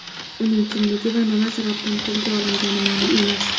Uning kimligi va nima sababdan qo‘lga olingani ma’lum emas.